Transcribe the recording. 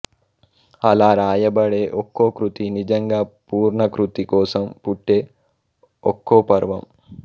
అలా రాయబడే ఒక్కో కృతి నిజంగా పూర్ణకృతి కోసం పుట్టే ఒక్కో పర్వం